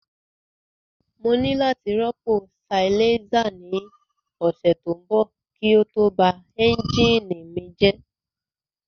Mo ní láti rọ́pò silencer ní ọ̀sẹ̀ tó ń bọ̀ kí ó tó ba ẹ́ńjìnì mi rẹ́